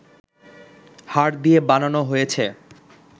হাড় দিয়ে বানানো হয়েছে